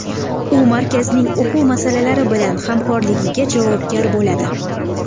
U markazning o‘quv muassasalari bilan hamkorligiga javobgar bo‘ladi.